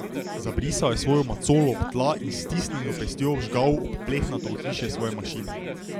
Zabrisal je svojo macolo ob tla in s stisnjeno pestjo vžgal ob plehnato ohišje svoje mašine.